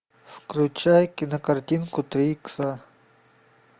включай кинокартинку три икса